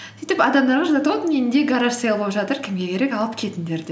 сөйтіп адамдарға жазады вот менде гараж сэйл болып жатыр кімге керек алып кетіндер деп